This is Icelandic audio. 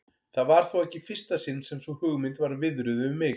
Það var þó ekki í fyrsta sinn sem sú hugmynd var viðruð við mig.